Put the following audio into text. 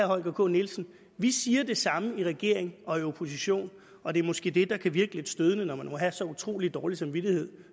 holger k nielsen vi siger det samme i regering og i opposition og det er måske det der kan virke lidt stødende når man må have så utrolig dårlig samvittighed